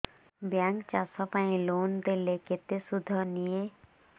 bank ଚାଷ ପାଇଁ loan ଦେଲେ କେତେ ସୁଧ ନିଏ